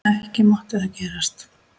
Ekki mátti það gerast.